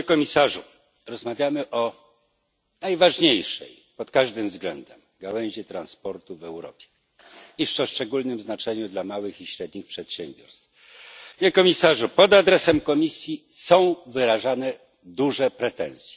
Panie komisarzu! Rozmawiamy o najważniejszej pod każdym względem gałęzi transportu w Europie o szczególnym znaczeniu dla małych i średnich przedsiębiorstw. Panie komisarzu, pod adresem Komisji są kierowane poważne pretensje.